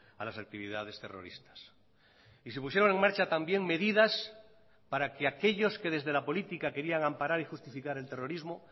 a las actividades terroristas y se pusieron en marcha también medidas para que aquellos que desde la política querían amparar y justificar el terrorismo